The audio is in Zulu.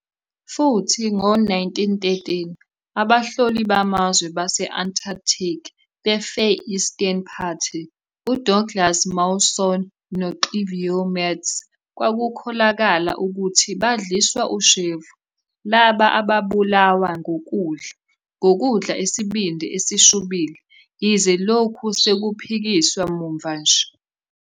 Futhi, ngo-1913, abahloli bamazwe base- Antarctic beFar Eastern Party uDouglas Mawson noXavier Mertz kwakukholakala ukuthi badliswa ushevu, laba ababulawa ngokudla, ngokudla isibindi esishubile, yize lokhu sekuphikisiwe muva nje.